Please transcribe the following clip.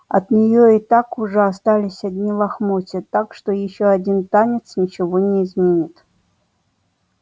от неё и так уже остались одни лохмотья так что ещё один танец ничего не изменит